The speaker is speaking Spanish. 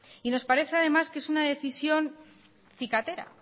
y nos parece además que es una decisión cicatera